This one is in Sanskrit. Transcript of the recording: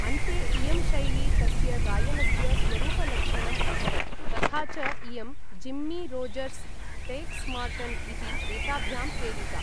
अन्ते इयं शैली तस्य गायनस्य स्वरूपलक्षणम् अभवत्, तथा च इयं जिम्मी रोजर्स्, टेक्स् मार्टन् इति एताभ्यां प्रेरिता।